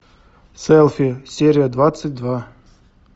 селфи серия двадцать два